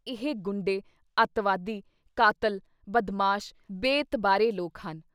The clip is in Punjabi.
ਇਹ ਗੁੰਡੇ, ਅਤਿਵਾਦੀ, ਕਾਤਿਲ, ਬਦਮਾਸ਼, ਬੇਇਤਬਾਰੇ ਲੋਕ ਹਨ।